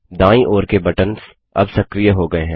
दायीं और के बटन्स अब सक्रिय हो गयें है